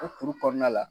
O kuru kɔnɔna la